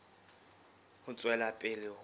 ho tswela pele ho ya